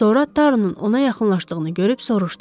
Sonra Tarunun ona yaxınlaşdığını görüb soruşdu.